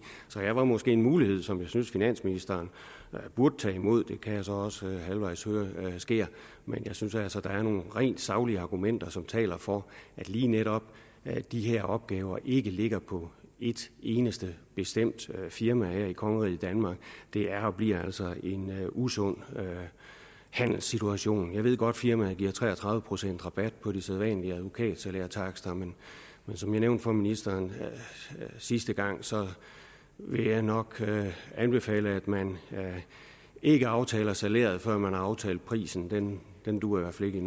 så her var måske en mulighed som jeg synes finansministeren burde tage imod og det kan jeg så også høre halvvejs sker men jeg synes altså der er nogle rent saglige argumenter som taler for at lige netop de her opgaver ikke ligger på et eneste bestemt firma her i kongeriget danmark det er og bliver altså en usund handelssituation jeg ved godt at firmaet giver tre og tredive procent rabat på de sædvanlige advokatsalærtakster men som jeg nævnte for ministeren sidste gang vil jeg nok anbefale at man ikke aftaler salæret før man har aftalt prisen den dur i hvert fald